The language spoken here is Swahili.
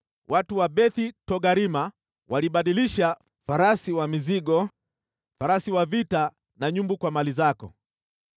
“ ‘Watu wa Beth-Togarma walibadilisha farasi wa mizigo, farasi wa vita na nyumbu kwa mali zako.